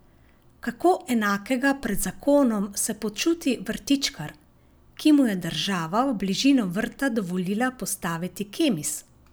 Kako enakega pred zakonom se počuti vrtičkar, ki mu je država v bližino vrta dovolila postaviti Kemis?